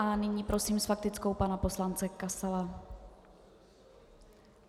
A nyní prosím s faktickou pana poslance Kasala.